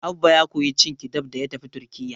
Abba ya koyi cin kibab da ya tafi Turkiyya.